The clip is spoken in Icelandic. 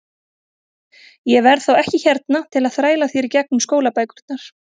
Ég verð þá ekki hérna til að þræla þér í gegnum skólabækurnar.